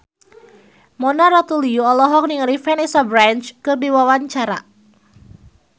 Mona Ratuliu olohok ningali Vanessa Branch keur diwawancara